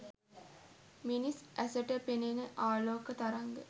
මිනිස් ඇසට පෙනෙන ආලෝක තරංග